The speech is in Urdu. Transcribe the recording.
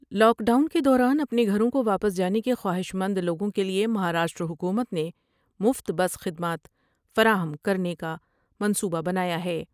لاک ڈاؤن کے دوران اپنے گھروں کو واپس جانے کے خواہش مند لوگوں کے لئے مہاراشٹر حکومت نے مفت بس خدمات فراہم کرنے کا منصوبہ بنایا ہے ۔